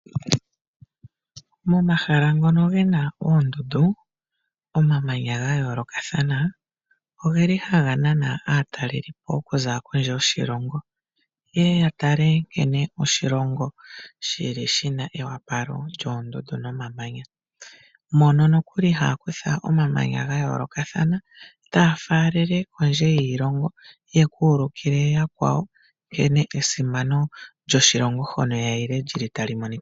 Momahala ngono gena oondundu, omamanya gayoolokathana ogeli haga nana aatalelipo okuza kondje yoshilongo. Yeye yatale nkene oshilongo shili shina eyopalo lyoondundu nomamanya. Mono nokuli haa kutha omamanya gayoolokathana , taa faalele kondje yiilongo yeku ulikile yakwawo nkene esimano lyoshilongo hono yayile lyili tali monika.